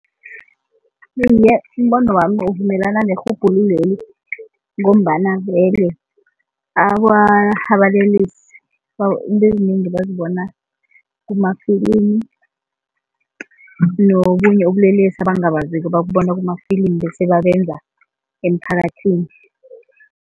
Iye, umbono wami uvumelana nerhubhululo leli ngombana vele abalelesi into ezinengi bazibona kumafilimu nobunye ubulelesi abangabaziko babubona kumafilimu bese babenza emphakathini.